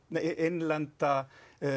innlenda